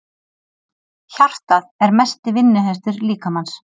Hjartað er mesti vinnuhestur líkamans.